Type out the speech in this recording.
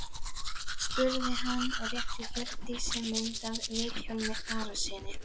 spurði hann og rétti Hjördísi mynd af Vilhjálmi Arasyni.